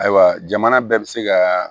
Ayiwa jamana bɛɛ bi se ka